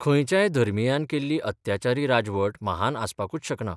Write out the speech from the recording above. खंयच्याय धर्मियान केल्ली अत्याचारी राजवट महान आसपाकूच शकना.